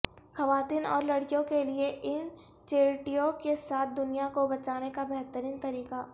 خواتین اور لڑکیوں کے لئے ان چیرٹیوں کے ساتھ دنیا کو بچانے کا بہترین طریقہ